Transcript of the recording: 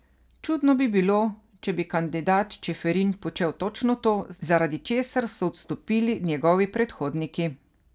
Čudno bi bilo, da bi kandidat Čeferin počel točno to, zaradi česar so odstopili njegovi predhodniki.